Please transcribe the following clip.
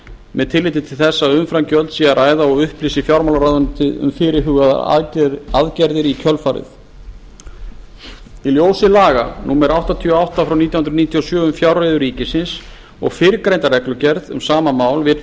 með tilliti til þess að um umframgjöld sé að ræða og upplýsi fjármálaráðuneytið um fyrirhugaðar aðgerðir í kjölfarið í ljósi laga númer áttatíu og átta nítján hundruð níutíu og sjö um fjárreiður ríkisins og fyrrgreinda reglugerð um sama mál vill